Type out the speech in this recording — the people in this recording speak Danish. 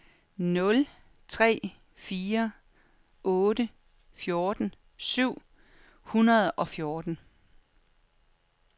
nul tre fire otte fjorten syv hundrede og fjorten